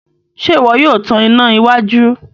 Ṣe iwọ yóò tàn iná iwájú?